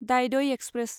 दायदय express